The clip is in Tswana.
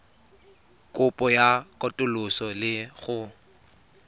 kopo ya katoloso le go